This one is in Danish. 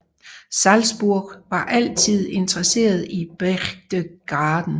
Salzburg var altid interesseret i Berchtesgaden